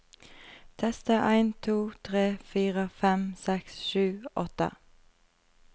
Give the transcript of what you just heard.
Tester en to tre fire fem seks sju åtte